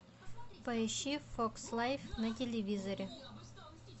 поищи фокс лайф на телевизоре